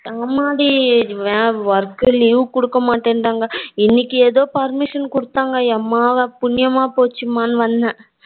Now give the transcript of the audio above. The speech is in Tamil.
ஆமா டி work leave குடுக்க மாட்றங்க இன்னைக்கு எதோ permission குடுத்தாங்க ஏம்மா புண்ணியமா போச்சுமானு வந்தே